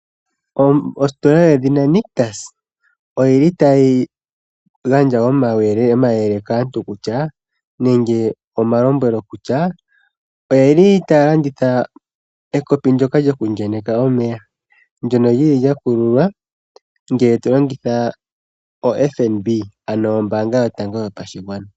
Ositola yedhina Nictus otayi gandja omayele kaantu kutya nenge omalombwelo kutya otaya landitha ekopi ndyoka lyokuenyeka omeya ndyono lya kululwa ngele to longitha oFNB ano ombaanga yotango yopashigwana.